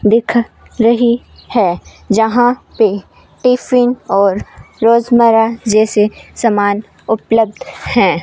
दिखा रही है जहां पे टिफिन और रोजमर्रा जैसे सामान उपलब्ध है।